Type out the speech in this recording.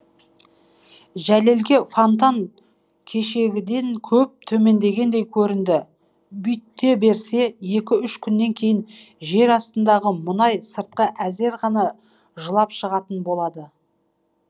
жәлелге фонтан кешегіден көп төмендегендей көрінді бүйте берсе екі үш күннен кейін жер астындағы мұнай сыртқа әзер ғана жылап шығатын болады